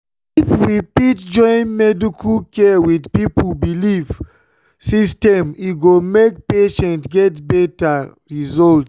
if we fit join medical care with people belief system e go make patients get better result.